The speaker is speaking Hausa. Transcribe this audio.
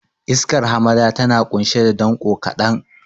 Iskar hamada tana ƙunshe da danƙo kaɗan.